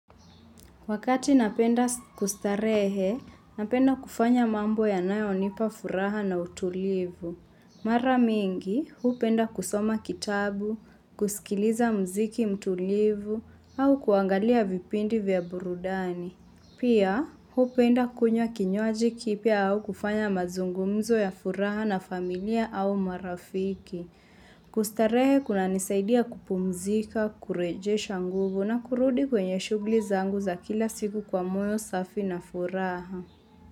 Wakati napenda kustarehe, napenda kufanya mambo ya nayo nipa furaha na utulivu. Mara mingi, huu penda kusoma kitabu, kusikiliza mziki mtulivu, au kuangalia vipindi vya burudani. Pia, huu penda kunya kinywaji kipia au kufanya mazungumzo ya furaha na familia au marafiki. Kustarehe kuna nisaidia kupumzika, kurejesha nguvu na kurudi kwenye shughuli zangu za kila siku kwa moyo safi na furaha.